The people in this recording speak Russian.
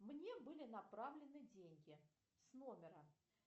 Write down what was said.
мне были направлены деньги с номера